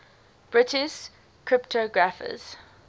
british cryptographers